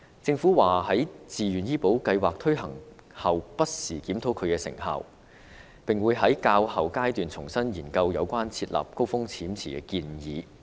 政府表示會在自願醫保計劃推行後，不時檢討其成效，並會在較後階段重新研究設立高風險池的建議。